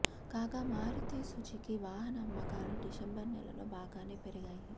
కాగా మారుతీ సుజుకీ వాహన అమ్మకాలు డిసెంబర్ నెలలో బాగానే పెరిగాయి